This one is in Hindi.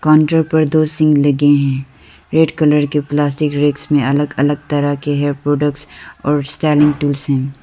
काउंटर पर दो सिंक लगे हैं रेड कलर के प्लास्टिक रैकस में अलग अलग तरह के हेयर प्रोडक्ट्स और स्टाइलिंग टूल्स हैं।